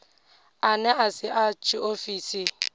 ane a si a tshiofisi